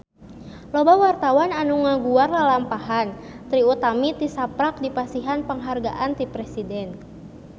Loba wartawan anu ngaguar lalampahan Trie Utami tisaprak dipasihan panghargaan ti Presiden